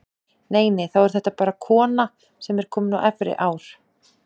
Nei, nei, þá er þetta bara kona sem er komin á efri ár!